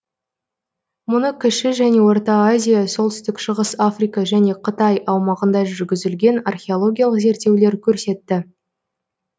мұны кіші және орта азия солтүстік шығыс африка және қытай аумағында жүргізілген археологиялық зерттеулер көрсетті